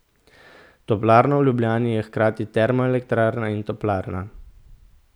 Toplarna v Ljubljani je hkrati termoelektrarna in toplarna.